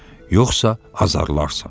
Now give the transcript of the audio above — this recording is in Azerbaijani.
Yoxsa azarlarsan.